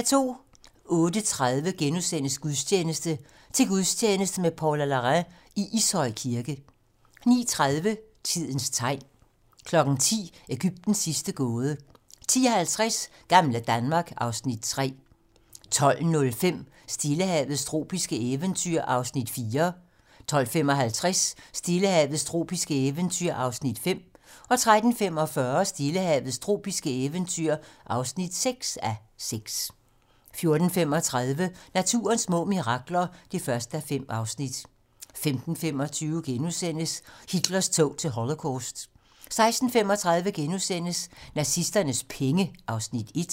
08:30: Gudstjeneste: Til gudstjeneste med Paula Larrain i Ishøj Kirke * 09:30: Tidens tegn 10:00: Ægyptens sidste gåde 10:50: Gamle Danmark (Afs. 3) 12:05: Stillehavets tropiske eventyr (4:6) 12:55: Stillehavets tropiske eventyr (5:6) 13:45: Stillehavets tropiske eventyr (6:6) 14:35: Naturens små mirakler (1:5) 15:25: Hitlers tog til Holocaust * 16:35: Nazisternes penge (Afs. 1)*